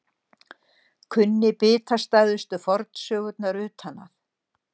Kunni bitastæðustu fornsögurnar utan að.